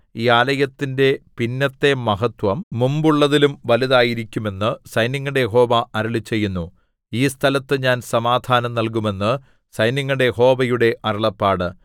ഈ ആലയത്തിന്റെ പിന്നത്തെ മഹത്ത്വം മുമ്പുള്ളതിലും വലുതായിരിക്കും എന്ന് സൈന്യങ്ങളുടെ യഹോവ അരുളിച്ചെയ്യുന്നു ഈ സ്ഥലത്ത് ഞാൻ സമാധാനം നല്കും എന്ന് സൈന്യങ്ങളുടെ യഹോവയുടെ അരുളപ്പാട്